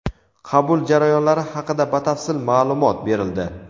qabul jarayonlari haqida batafsil ma’lumot berildi.